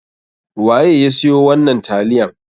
Waye ya siyo wannan taliyan?